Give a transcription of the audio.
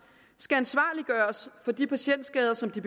skal gøres ansvarlige for de patientskader som de